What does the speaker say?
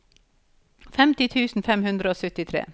femti tusen fem hundre og syttitre